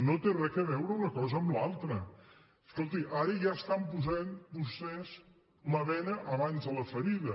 no té res a veure una cosa amb l’altra escolti ara ja estan posant vostès la bena abans de la ferida